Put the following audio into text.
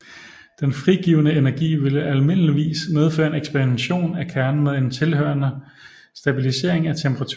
Den frigivne energi ville almindeligvis medføre en ekspansion af kernen med en tilhørende stabilisering af temperaturen